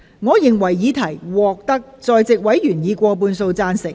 我認為議題獲得在席委員以過半數贊成。